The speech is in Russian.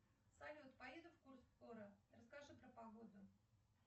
салют поедем в курск скоро расскажи про погоду